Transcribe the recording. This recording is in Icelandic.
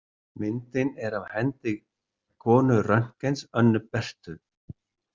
Myndin er af hendi konu Röntgens, Önnu Berthu.